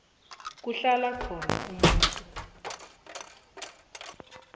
kuhlala khona umuntu